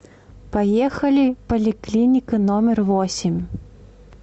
поехали поликлиника номер восемь